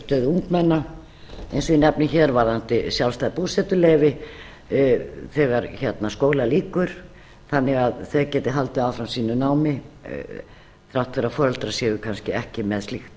ungmenna eins og ég nefni hér varðandi sjálfstæð búsetuleyfi þegar skóla lýkur þannig að þau geti haldið áfram sínu námi þrátt fyrir að foreldrar séu kannski ekki með slíkt